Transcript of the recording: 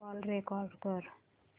call record कर